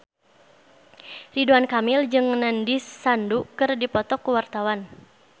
Ridwan Kamil jeung Nandish Sandhu keur dipoto ku wartawan